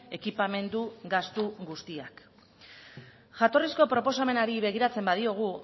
ekipamendu gastu guztiak jatorrizko proposamenari begiratzen badiogu